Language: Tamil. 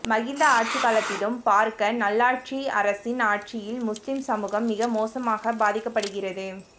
மஹிந்த ஆட்சிகாலத்திலும் பார்க்க நல்லாட்சி அரசின் ஆட்சியில் முஸ்லிம் சமூகம் மிக மோசமாக பாதிக்கப்படுகிறது